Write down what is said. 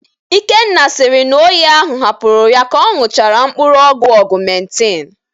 Ikenna sịrị na oyi ahụ hapụrụ ya ka ọ ñụchara mkpụrụ ọgwụ Ọgụmentin